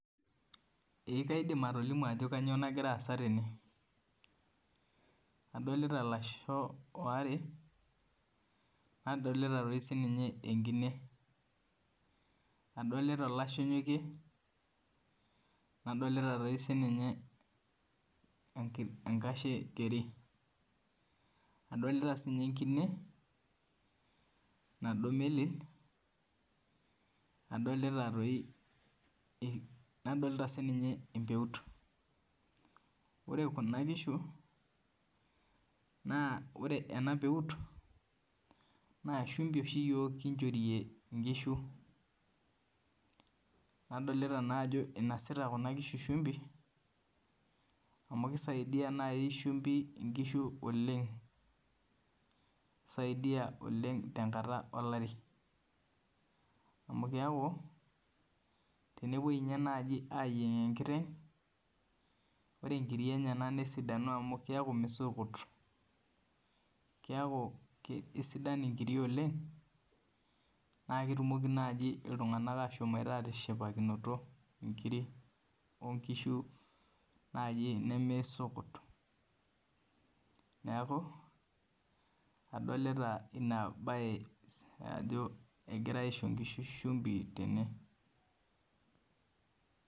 Ee kaidim atolimu ajo kanyio nagira aasa tene adolita lasho aare nadolita sinye enkine adolta olashe onyokie nadolita sininye enkashe keri adolita sinye enkine nado meli nadolta sininye empeut ore kuna kishu na ore enapeut na shumbi oshi yiok kinchorie nkishu nadolta ajo inosita kuna kishu shumbi amu kisaidia nai shumbi nkishu oleng tenkata olari amu tenepuoi nai ayieng enkiteng ore nkiri enye nesidanu amu. Keaku misukut keaku kesidanu oleng amu na ketumoki nai ltunganak ashomoita atishipakino nkirik nemeisukut neaku adolta inabae ajo egirai aisho nkishu shumbi tene.